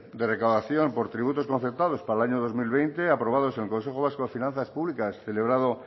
de recaudación por tributos concertados para el año dos mil veinte aprobados en consejo vasco de finanzas públicas celebrado